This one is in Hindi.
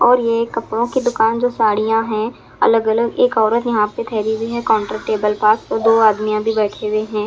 और ये कपड़ों की दुकान जो साड़ियाँ हैं अलग अलग एक औरत यहाँ पर ठहरी हुई है काउंटर टेबल पर और दो आदमियाँ भी बैठे हुए हैं।